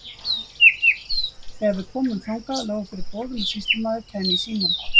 Þegar við komum þangað lágu fyrir boð um að sýslumaður kæmi í símann.